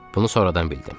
Bunu sonradan bildim.